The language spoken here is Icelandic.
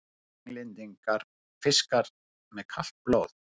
Englendingar: fiskar með kalt blóð!